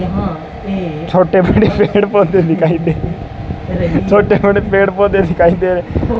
छोटे बड़े पेड़ पौधे दिखाई दे छोटे बड़े पेड़ पौधे दिखाई दे रहे --